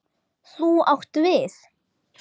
Þú átt við.